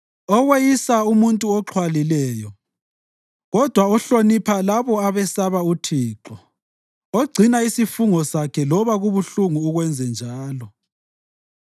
oweyisa umuntu oxhwalileyo kodwa ohlonipha labo abesaba uThixo, ogcina isifungo sakhe loba kubuhlungu ukwenzenjalo,